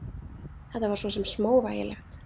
Þetta var svo sem smávægilegt.